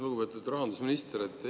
Lugupeetud rahandusminister!